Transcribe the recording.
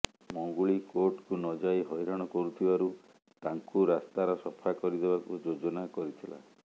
ମଙ୍ଗୁଳି କୋର୍ଟକୁ ନଯାଇ ହଇରାଣ କରୁଥିବାରୁ ତାଙ୍କୁ ରାସ୍ତାର ସଫା କରିଦେବାକୁ ଯୋଜନା କରିଥିଲା